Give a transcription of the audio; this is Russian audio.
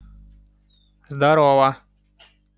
здорова